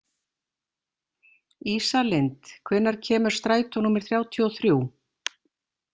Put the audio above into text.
Ísalind, hvenær kemur strætó númer þrjátíu og þrjú?